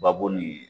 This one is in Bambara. Babo ni